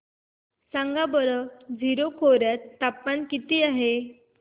सांगा बरं जीरो खोर्यात तापमान किती आहे